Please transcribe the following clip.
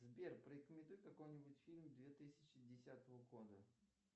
сбер порекомендуй какой нибудь фильм две тысячи десятого года